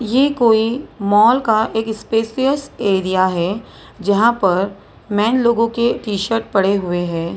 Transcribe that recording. ये कोई मॉल का एक स्पेसियस एरिया है जहां पर मेन लोगों के टी_शर्ट पड़े हुए हैं।